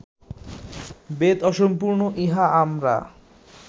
বেদ অসম্পূর্ণ ইহা আমরা